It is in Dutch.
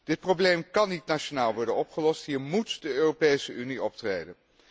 Dit probleem kan niet nationaal worden opgelost, hier móet de Europese Unie optreden.